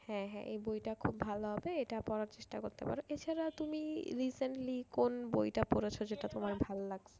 হ্যাঁ হ্যাঁ এই বইটা খুব ভালো হবে এটা পড়ার চেষ্টা করতে পারো। এছাড়া তুমি recently কোন বইটা পড়েছ যেটা তোমার ভালো লাগছে?